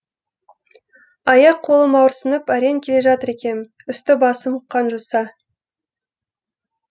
аяқ қолым ауырсынып әрең келе жатыр екем үсті басым қанжоса